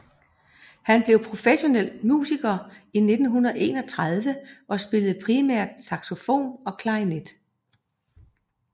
Han blev professionel musiker i 1931 og spillede primært saxofon og klarinet